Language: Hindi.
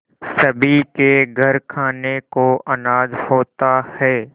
सभी के घर खाने को अनाज होता है